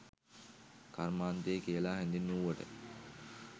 කර්මාන්තය කියලා හැඳින්වූවට